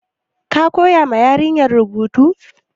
Ka koya ma yarinyar rubutu?